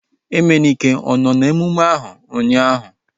Emenike ọ nọ n'emume ahu ụnyaahụ?